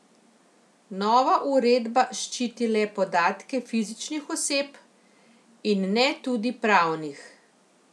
Nova uredba ščiti le podatke fizičnih oseb, in ne tudi pravnih.